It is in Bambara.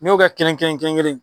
N'i y'o kɛ kelen kelen